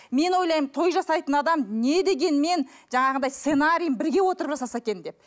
мен ойлаймын той жасайтын адам не дегенмен жаңағындай сценариін бірге отырып жасаса екен деп